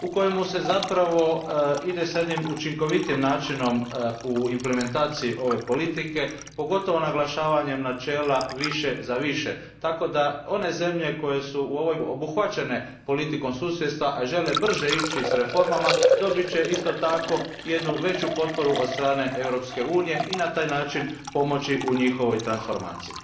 U njemu se zapravo ide s jednim učinkovitijim načinom u implementaciji ove politike, pogotovo naglašavanjem načela više za više, tako da će one zemlje koje su obuhvaćene politikom susjedstva, a žele brže ići s reformama, dobiti isto tako jednu veću potporu od strane Europske unije i na taj način pomoć u njihovoj transformaciji.